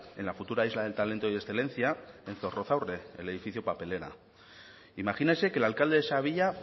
en la futura isla del talento y excelencia en zorrozaurre el edificio papelera imagínese que el alcalde de esa villa